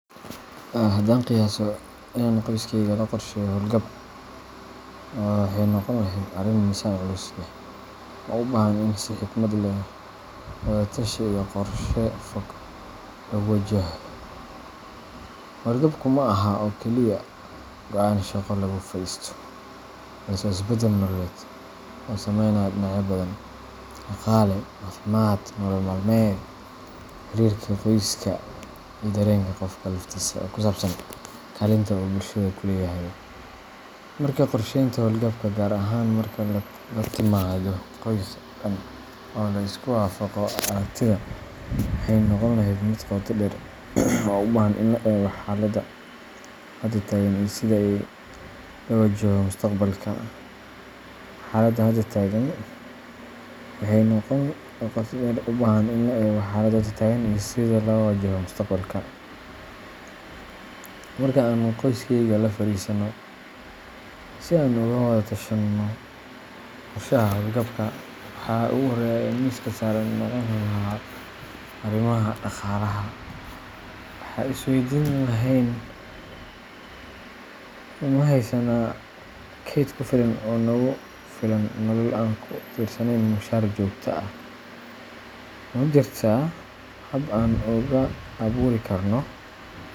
Haddaan qiyaaso inaan qoyskayga la qorsheynayo hawlgab, waxay noqon lahayd arrin miisaan culus leh oo u baahan in si xikmad leh, wada-tashi iyo qorshe fog lagu wajahdo. Hawlgabku ma aha oo keliya go'aan shaqo laga fadhiisto, balse waa isbeddel nololeed oo saameynaya dhinacyo badan: dhaqaale, caafimaad, nolol-maalmeed, xiriirka qoyska, iyo dareenka qofka laftiisa ee ku saabsan kaalinta uu bulshada ku leeyahay. Markaa qorshaynta hawlgabka, gaar ahaan marka ay timaado qoys dhan oo la isku waafaqayo aragtida, waxay noqon lahayd mid qoto dheer oo u baahan in la eego xaaladda hadda taagan iyo sida loo wajaho mustaqbalka. Marka aan qoyskayga la fariisano si aan uga wadatashanno qorshaha hawlgabka, waxa ugu horreeya ee miiska saaran noqon lahaa arrimaha dhaqaalaha. Waxaan is weydiin lahayn: Ma haysanaa kayd ku filan oo nagu filan nolol aan ku tiirsanayn mushahar joogto ah? Ma jirtaa hab aan ugu abuuri karno.